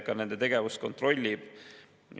Ma alustan sellest, et mingit valimisvõltsingut ei ole olnud.